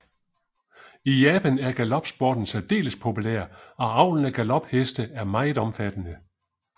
I Japan er galopsporten særdeles populær og avlen af galopheste er meget omfattende